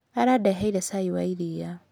Arandeheire cai wa iria.